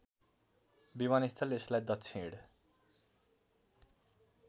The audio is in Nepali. विमानस्थल यसलाई दक्षिण